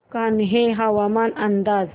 कान्हे हवामान अंदाज